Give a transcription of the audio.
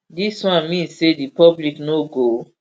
dis one mean say di public no go